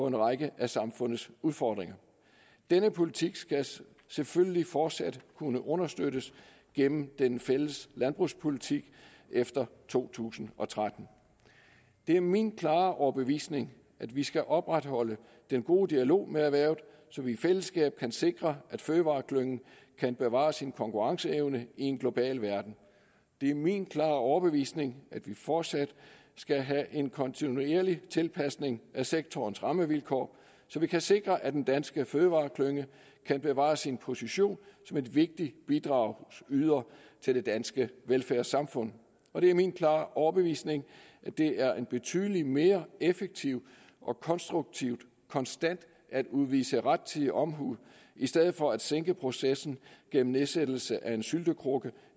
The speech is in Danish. en række af samfundets udfordringer denne politik skal selvfølgelig fortsat kunne understøttes gennem den fælles landbrugspolitik efter to tusind og tretten det er min klare overbevisning at vi skal opretholde den gode dialog med erhvervet så vi i fællesskab kan sikre at fødevareklyngen kan bevare sin konkurrenceevne i en global verden det er min klare overbevisning at vi fortsat skal have en kontinuerlig tilpasning af sektorens rammevilkår så vi kan sikre at den danske fødevareklynge kan bevare sin position som en vigtig bidragsyder til det danske velfærdssamfund og det er min klare overbevisning at det er en betydelig mere effektiv og konstruktiv konstant at udvise rettidig omhu i stedet for at sænke processen gennem nedsættelse af en syltekrukke